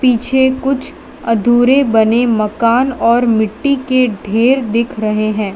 मुझे कुछ अधूरे बने मकान और मिट्टी के ढेर दिख रहे है।